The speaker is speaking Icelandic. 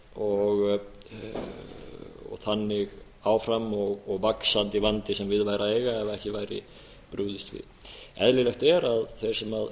og þannig áfram og vaxandi vandi sem við væri að eiga ef ekki væri brugðist við eðlilegt er að þeir sem